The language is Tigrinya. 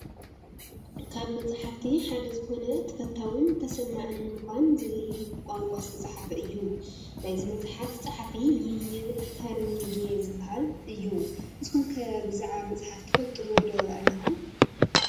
ካብ መፅሓፈቲ ሓደ ዝኾነ "ተፈታውን ተሰማዕን ንምዃን' ዝብል ብቋንቋ ዝተፃሕፈ እዩ፡፡ ናይዚ መፅሓፍ ፀሓፊ ደይል ካርንጌ ዝባሃል እዩ፡፡ ንስኹም ከ ብዛዕባ መፅሓፍ ትፈልጥዎ ዶ ኣለኩም?